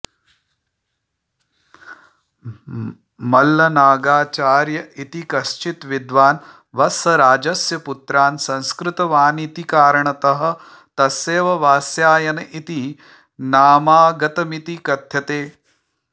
मल्लनागाचार्य इति कश्चित् विद्वान् वत्सराजस्य पुत्रान् संस्कृतवानिति कारणतः तस्येव वात्स्यायन इति नामागतमिति कथ्यते